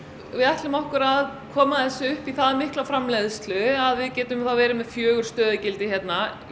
við ætlum okkur að koma þessu upp í það mikla framleiðslu að við getum þá verið með fjögur stöðugildi hérna í